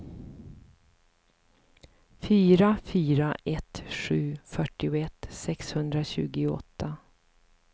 fyra fyra ett sju fyrtioett sexhundratjugoåtta